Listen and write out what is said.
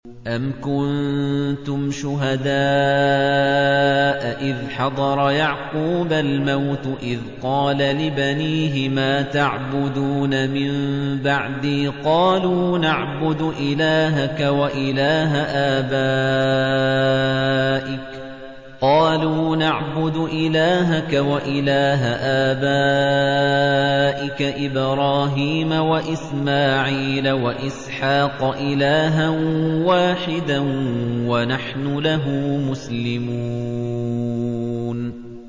أَمْ كُنتُمْ شُهَدَاءَ إِذْ حَضَرَ يَعْقُوبَ الْمَوْتُ إِذْ قَالَ لِبَنِيهِ مَا تَعْبُدُونَ مِن بَعْدِي قَالُوا نَعْبُدُ إِلَٰهَكَ وَإِلَٰهَ آبَائِكَ إِبْرَاهِيمَ وَإِسْمَاعِيلَ وَإِسْحَاقَ إِلَٰهًا وَاحِدًا وَنَحْنُ لَهُ مُسْلِمُونَ